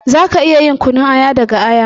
Za ka iya yin kunun aya daga aya.